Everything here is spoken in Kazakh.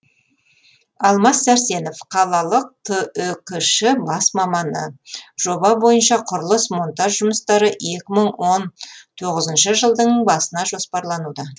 алмас сәрсенов қалалық түкш бас маманы жоба бойынша құрылыс монтаж жұмыстары екі мың он тоғызыншы жылдың басына жоспарлануда